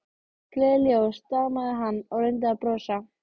Gleðileg jól stamaði hann og reyndi að brosa.